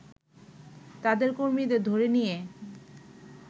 তাদের কর্মীদের ধরে নিয়ে